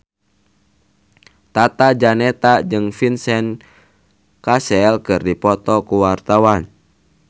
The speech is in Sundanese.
Tata Janeta jeung Vincent Cassel keur dipoto ku wartawan